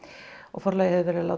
Forlagið